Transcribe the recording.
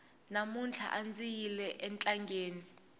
mamuntlha andzi yile entangeni